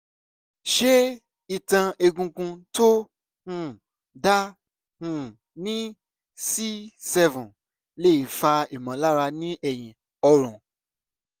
ṣé ìtàn egungun tó um dá um ní c7 lè fa ìmọ̀lára ní ẹ̀yìn ọrùn?